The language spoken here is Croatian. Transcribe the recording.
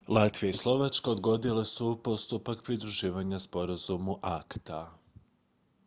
latvija i slovačka odgodile su postupak pridruživanja sporazumu acta